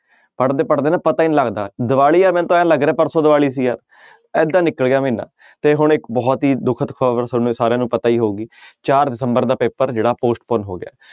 ਪੜ੍ਹਦੇ ਪੜ੍ਹਦੇ ਨਾ ਪਤਾ ਹੀ ਨੀ ਲੱਗਦਾ ਦੀਵਾਲੀ ਹੈ ਮੈਨੂੰ ਤਾਂ ਇਉਂ ਲੱਗ ਰਿਹਾ ਪਰਸੋਂ ਦੀਵਾਲੀ ਸੀ ਆ ਏਦਾਂ ਨਿਕਲ ਗਿਆ ਮਹੀਨਾ ਤੇ ਹੁਣ ਇੱਕ ਬਹੁਤ ਹੀ ਦੁਖਤ ਖ਼ਬਰ ਤੁਹਾਨੂੰ ਸਾਰਿਆਂ ਨੂੰ ਪਤਾ ਹੀ ਹੋਊਗੀ ਚਾਰ ਦਸੰਬਰ ਦਾ ਪੇਪਰ ਜਿਹੜਾ postponed ਹੋ ਗਿਆ।